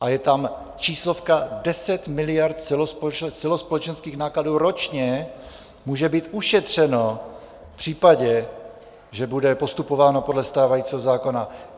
A je tam číslovka, 10 miliard celospolečenských nákladů ročně může být ušetřeno v případě, že bude postupováno podle stávajícího zákona.